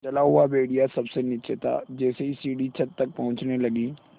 जला हुआ भेड़िया सबसे नीचे था जैसे ही सीढ़ी छत तक पहुँचने लगी